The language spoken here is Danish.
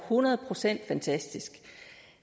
hundrede procent fantastisk